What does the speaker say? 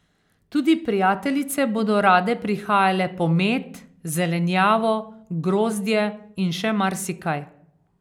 Tudi prijateljice bodo rade prihajale po med, zelenjavo, grozdje in še marsikaj.